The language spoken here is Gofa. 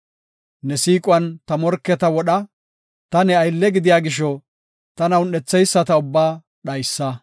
Ne siiquwan ta morketa wodha; ta ne aylle gidiya gisho tana un7etheyisata ubbaa dhaysa.